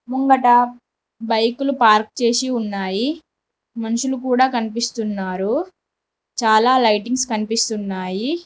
ముంగట బైకులు పార్క్ చేసి ఉన్నాయి మనుషులు కూడా కనిపిస్తున్నారు చాలా లైటింగ్స్ కనిపిస్తున్నాయి.